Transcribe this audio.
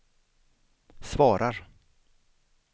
svarar